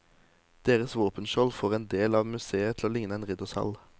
Deres våpenskjold får en del av museet til å ligne en riddersal.